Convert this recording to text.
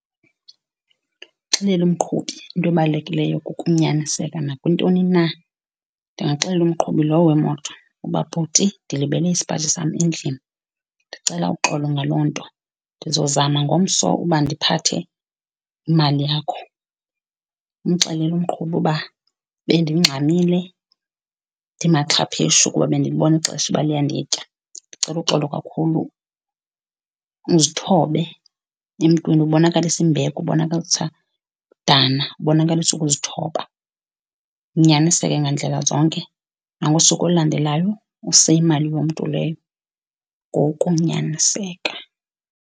Ndingaxelela umqhubi into ebalulekileyo kukunyaniseka nakwintoni na. Ndingaxelela umqhubi lowo wemoto uba, bhuti, ndilibele isipaji sam endlini ndicela uxolo ngaloo nto. Ndizozama ngomso uba ndiphathe imali yakho. Umxelele umqhubi uba bendingxamile ndimaxhapheshu kuba bendilibona ixesha uba liyanditya. Ndicela uxolo kakhulu. Uzithobe emntwini ubonakalise imbeko, ubonakalisa udana, ubonakalisa ukuzithoba. Unyaniseke ngandlela zonke. Nangosuku olulandelayo, use imali yomntu leyo ngokunyaniseka.